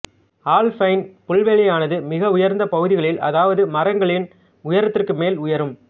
alpine புல்வெளியானது மிக உயர்ந்த பகுதிகளில் அதாவது மரங்களின் உயதத்திற்கு மேல் உயரம்